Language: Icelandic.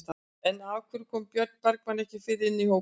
En af hverju kom Björn Bergmann ekki fyrr inn í hópinn?